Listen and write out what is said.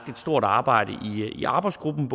stort arbejde i arbejdsgruppen